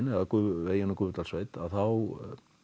eða veginn um Gufudalssveit þá